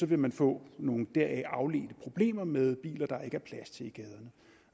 vil man få nogle deraf afledte problemer med biler der ikke er plads til i gaden